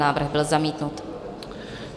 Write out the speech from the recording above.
Návrh byl zamítnut.